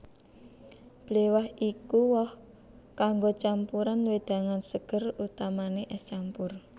Bléwah iku woh kanggo campuran wedangan seger utamane es campur